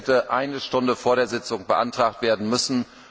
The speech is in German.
Es hätte eine Stunde vor der Sitzung beantragt werden müssen.